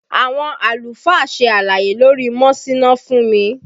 Àwọn àlùfáà ṣe àlàyé lórí mọ́síná fún mi